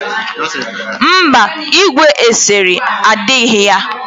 Mba, igwe eserese dighi ya.